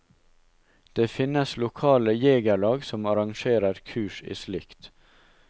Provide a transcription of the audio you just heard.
Det finnes lokale jegerlag som arrangerer kurs i slikt.